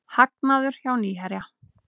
Hagnaður hjá Nýherja